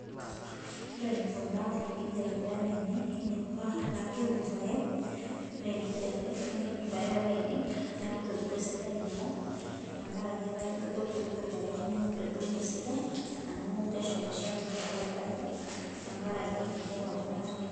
Ore enikuna enkijape irpaek lainei neinepua etaa keku irpaek ore enkijape ninyal irpaek Lainei neeku etu epuku esidai irkumok tenkaraki etaa jio kepuruk irpaek neeku eitu aidong'u esidai amuu kashalishali naa pee aitayu tenkaraki enkijape apa natii